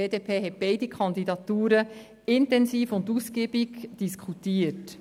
Die BDP hat beide Kandidaturen intensiv und ausgiebig diskutiert.